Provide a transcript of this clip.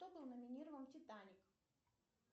кто номинирован титаник